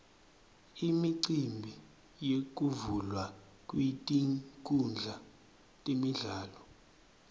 imicimbi yekuvulwa kwetinkhundla temidlalo